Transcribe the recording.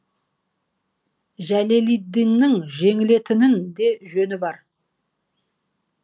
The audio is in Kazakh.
жәлелиддиннің жеңілетін де жөні бар